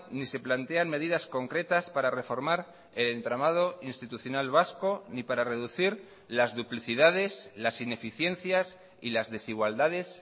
ni se plantean medidas concretas para reformar el entramado institucional vasco ni para reducir las duplicidades las ineficiencias y las desigualdades